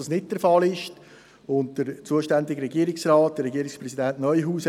Ich begrüsse Regierungsrat Neuhaus bei uns.